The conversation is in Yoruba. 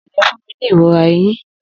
Ogede fun mi ni irora eyin.